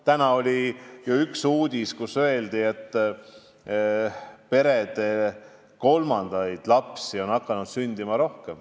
Täna oli ju uudis, et peredesse on hakanud rohkem kolmandaid lapsi sündima.